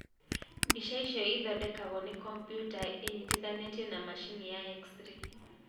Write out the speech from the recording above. Mbica icio ĩthondekagwo nĩ kombyuta ĩnyitithanĩtio na macini ya x ray.